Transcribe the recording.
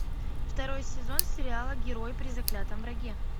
второй сезон сериала герой при заклятом враге